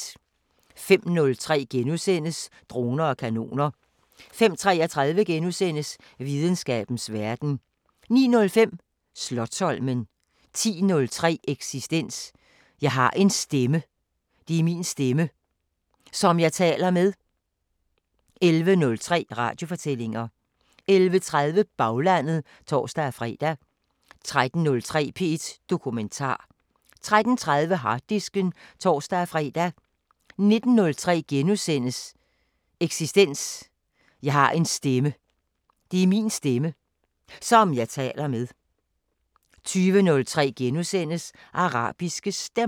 05:03: Droner og kanoner * 05:33: Videnskabens Verden * 09:05: Slotsholmen 10:03: Eksistens: Jeg har en stemme. Det er min stemme. Som jeg taler med. 11:03: Radiofortællinger 11:30: Baglandet (tor-fre) 13:03: P1 Dokumentar 13:30: Harddisken (tor-fre) 19:03: Eksistens: Jeg har en stemme. Det er min stemme. Som jeg taler med. * 20:03: Arabiske Stemmer *